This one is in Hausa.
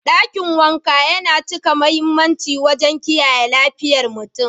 Dakin wanka yana cika mahimmanci wajen kiyaye lafiyar mutum.